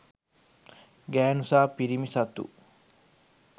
ගැහැණු සහ පිරිමින් සතු